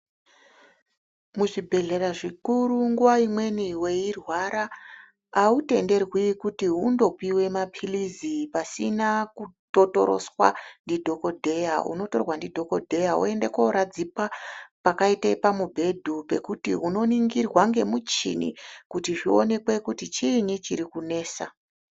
Muzvibhedhlera zvikuru nguwa imweni weirwara autenderwi kuti undopiwe mapirizi pasine kutotoreswa ndidhokodheya, unotorwa ndidhokodheya woende kooradzikwa pakaita pamubhedhu pekuti unoningirwa nemuchini kuti zvionekwe kuti chiini chiri kunesa.